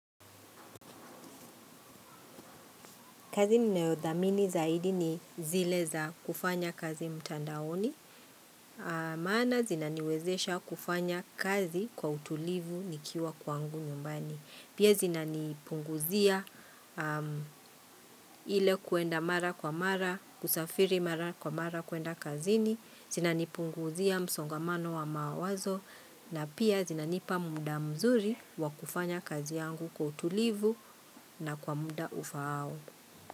Kazi ninayodhamini zaidi ni zile za kufanya kazi mtandaoni. Maana zinaniwezesha kufanya kazi kwa utulivu nikiwa kwangu nyumbani. Pia zinani punguzia ile kuenda mara kwa mara, kusafiri mara kwa mara kuenda kazini. Zinani punguzia msongamano wa mawazo na pia zinanipa muda mzuri wa kufanya kazi yangu kwa utulivu na kwa muda ufaao.